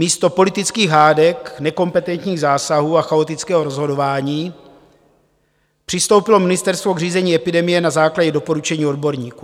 Místo politických hádek, nekompetentních zásahů a chaotického rozhodování přistoupilo ministerstvo k řízení epidemie na základě doporučení odborníků.